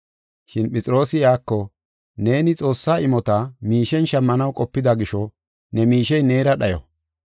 Shin Phexroosi iyako, “Neeni Xoossaa imota miishen shammanaw qopida gisho ne miishey neera dhayo.